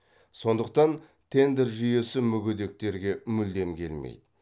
сондықтан тендер жүйесі мүгедектерге мүлдем келмейді